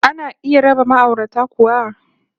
Ana iya raba ma'aurata kuwa?